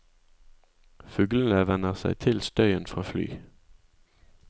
Fuglene venner seg til støyen fra fly.